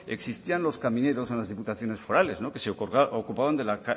existían los camineros en las diputaciones forales que se ocupaban de la